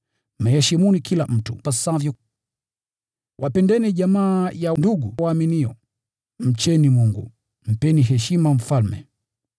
Mheshimuni kila mtu ipasavyo: Wapendeni jamaa ya ndugu waumini, mcheni Mungu, mpeni heshima mfalme.